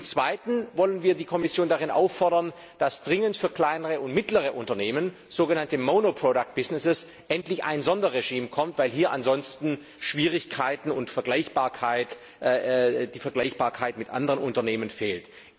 Zum Zweiten wollen wir die Kommission darin auffordern, dass dringend für kleinere und mittlere Unternehmen, sogenannte monoproduct businesses, endlich ein Sonderregime kommt, weil hier ansonsten Schwierigkeiten auftreten und die Vergleichbarkeit mit anderen Unternehmen fehlt.